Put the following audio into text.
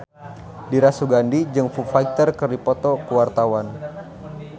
Dira Sugandi jeung Foo Fighter keur dipoto ku wartawan